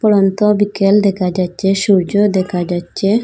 পড়ন্ত বিকেল দেকা যাচ্চে সূর্য দেকা যাচ্চে।